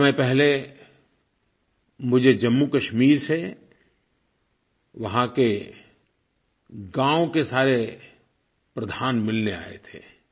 कुछ समय पहले मुझे जम्मूकश्मीर से वहाँ के गाँव के सारे प्रधान मिलने आये थे